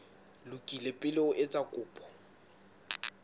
lokile pele o etsa kopo